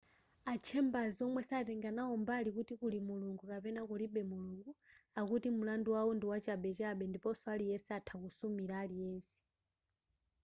a chambers womwe satenga nawo mbali kuti kuli mulungu kapena kulibe mulungu akuti mulandu wawo ndi wachabechabe ndiponso aliyense atha kusumira aliyense